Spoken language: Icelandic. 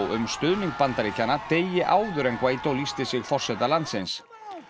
um stuðning Bandaríkjanna degi áður en Guaidó lýsti sig forseta landsins